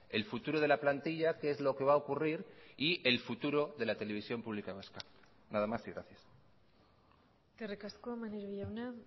el futuro de la plantilla que es lo que va a ocurrir y el futuro de la televisión pública vasca nada más y gracias eskerrik asko maneiro jauna